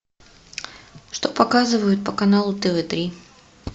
что показывают по каналу тв три